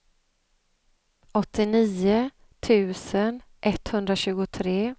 åttionio tusen etthundratjugotre